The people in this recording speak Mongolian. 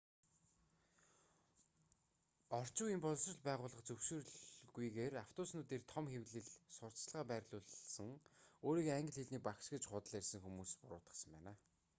орчин үеийн боловсрол байгууллага зөвшөөрөлгүйгээр автобуснууд дээр том хэвлэмэл сурталчилгаа байрлуулсан өөрийгөө англи хэлний багш гэж худал ярьсан хэмээн буруутгасан байна